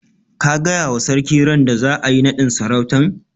Ka gaya wa sarki randa za'a yi naɗin sarautan?